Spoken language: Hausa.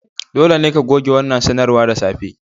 Dole ne ka goge wannan sanarwar da safe!